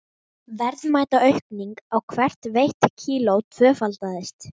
Verðmætaaukning á hvert veitt kíló tvöfaldaðist.